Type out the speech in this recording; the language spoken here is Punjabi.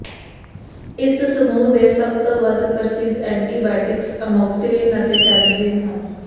ਇਸ ਸਮੂਹ ਦੇ ਸਭ ਤੋਂ ਵੱਧ ਪ੍ਰਸਿੱਧ ਐਂਟੀਬਾਇਟਿਕਸ ਅਮੋਕਸਿਕਿਲਿਨ ਅਤੇ ਪੈਨਿਸਿਲਿਨ ਹਨ